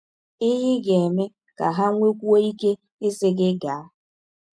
Ihe Ị Ga - eme Ka Ha Nwekwụọ Ike Ịsị Gị Gaa